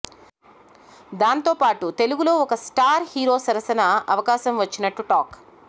దాంతోపాటు తెలుగులో ఓ స్టార్ హీరో సరసన అవకాశం వచ్చినట్టు టాక్